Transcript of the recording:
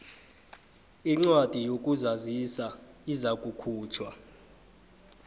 incwadi yokuzazisa izakukhutjhwa